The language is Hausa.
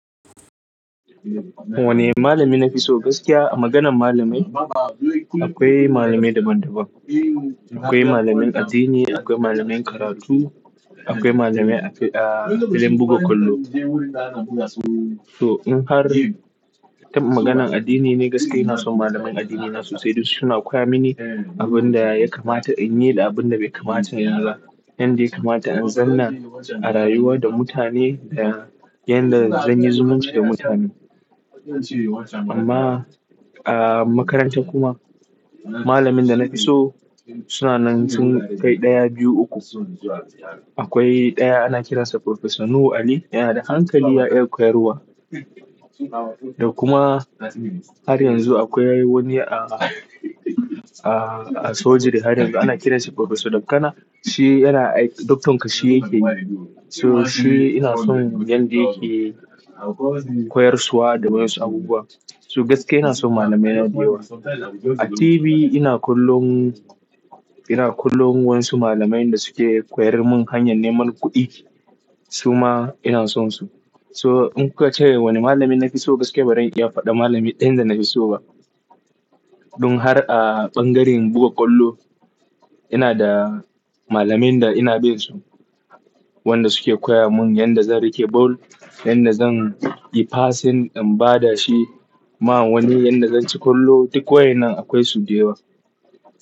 Wane malami nafi so gaskiya? A maganan malamai akwai malamai daban daban. Akwai malamin addini, akwai malamin karatu, akwai malami a filin buga kwallo. To in har, ta maganan addini ne gaskiya ina son malamain addini na sosai duk suna koya mini abin da ya kamata in yi da abin da bai kamata in yi ba. Yanda ya kamata in zauna a rayuwa da mutane da yanda zan yi zumunci da mutane. Amma a makaranta kuma, malamin da na fi so suna nan sun kai ɗaya, biyu, uku. Akwai ɗaya ana kiransa Professor Nuhu Ali, yana da hankali, ya iya koyarwa. Da kuma har yanzu akwai wani a, a, a Surgery har yanzu ana kiransa Professor Dakana. Shi yana ai- Doctor kashi yake yi. To shi ina son yanda yake koyarsuwa da wayansu abubuwa. So gaskiya ina son malamaina da yawa. A TV ina kollon, ina kollon wayasu malamain da suke koyar mun hanyar neman kuɗi, suma ina sonsu. So in ka ce wane malami nafi so gaskiya ba zan iya faɗa malami ɗayan da na fi so ba. Dun har a ɓangaren buga ƙwallo, ina da malamain da ina bin su, wanda suke koya mun yanda zan rike ball, yanda zan yi passing in ba da shi ma wani, yanda zan ci ƙwallo duk waye nan akwai su da yawa.